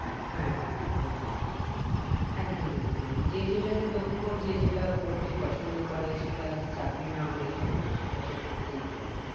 হ্যাঁ হ্যাঁ একদমই একদমই একদমই যে যেটাতে দক্ষ যে যেটা করতে পছন্দ করে সেটা চাকরি না হলে কি হল সেটা সে করতেই পারে